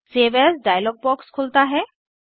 save as dialog box खुलता है